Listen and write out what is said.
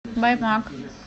баймак